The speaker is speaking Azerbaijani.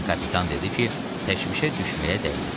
Lakin kapitan dedi ki, təşvişə düşməyə dəyməz.